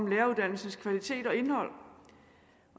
læreruddannelsens kvalitet og indhold